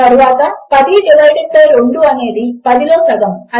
తరువాత 10 divided by 2 అనేది 10లో సగము